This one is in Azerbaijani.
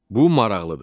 Bu maraqlıdır.